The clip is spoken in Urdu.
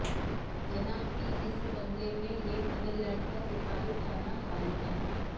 جناح کے اس بنگلے میں اب نیدرلینڈز کا سفارت خانہ قائم ہے